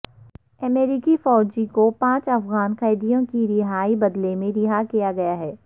امریکی فوجی کو پانچ افغان قیدیوں کی رہائی بدلے میں رہا کیا گیا ہے